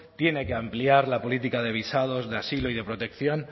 tiene que ampliar la política de visados de asilo y de protección